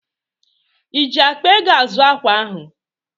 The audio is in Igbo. Iji akpa ego azụ ákwà ahụ?